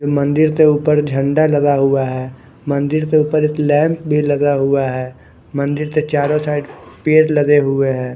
मंदिर के ऊपर झंडा लगा हुआ है मंदिर के ऊपर एक लैंप भी लगा हुआ है मंदिर के चारो साईड पेड़ लगे हुए है।